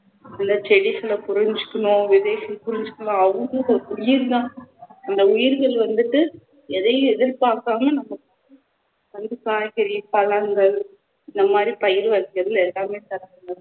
இல்ல செடிகளை புரிஞ்சிக்கணும் விதைகளை புரிஞ்சிக்கணும் அவங்களும் உயிர்தான் அந்த உயிர்கள் வந்துட்டு எதையும் எதிர்பார்க்காம நம்ம காய்கறி, பழங்கள் இந்தமாதிரி பயிர்கள் எல்லாமே தரமுடியும்